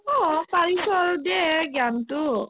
অ, পাৰিছ আৰু দে জ্ঞানতো